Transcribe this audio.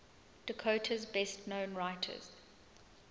dakota's best known writers